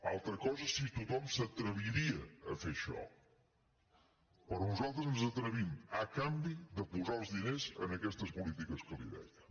altra cosa és si tothom s’atreviria a fer això però nosaltres ens hi atrevim a canvi de posar els diners en aquestes polítiques que li deia